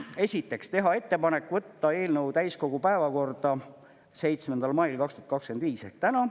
Esiteks, teha ettepanek võtta eelnõu täiskogu päevakorda 7. mail 2025 ehk täna.